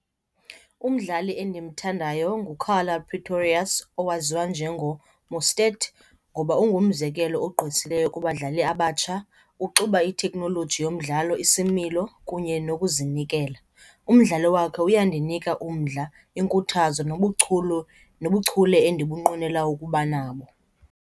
Umdlali endimthandayo nguKarla Pretorious owaziwa njengoMostert ngoba ungumzekelo ogqwesileyo kubadlali abatsha, uxuba itheknoloji yomdlalo, isimilo kunye nokuzinikela. Umdlalo wakhe uyandinika umdla, iinkuthazo nobuchule endibunqwnela ukuba nabo.